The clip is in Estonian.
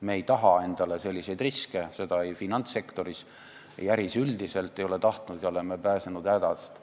Me ei taha endale selliseid riske – ei finantssektoris ega äris üldiselt – ja oleme pääsenud hädast.